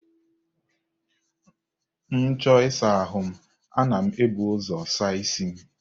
M chọọ ịsa ahụ m, ana m ebu ụzọ saa isi m.